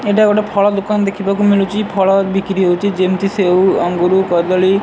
ଏଇଟା ଗୋଟେ ଫଳ ଦୋକାନ ଦେଖିବାକୁ ମିଳୁଚି ଫଳ ବିକ୍ରି ହଉଚି ଯେମିତି ସେଉ ଅଙ୍ଗୁରୁ କଦଳୀ